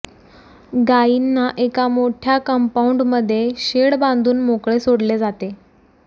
गाईंना एका मोठ्या कंपाऊंड मध्ये शेड बांधून मोकळे सोडले जाते